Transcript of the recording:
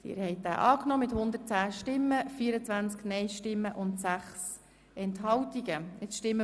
Sie haben den Antrag SiK und Regierungsrat angenommen.